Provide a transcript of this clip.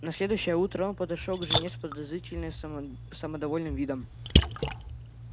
на следующее утро он подошёл к жене с подозрительно само самодовольным видом